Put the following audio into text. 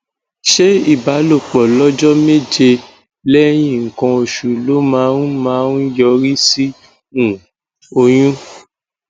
ṣé ìbálòpọ lọjọ méje lẹyìn nkan oṣù ló máa ń máa ń yọrí sí um oyún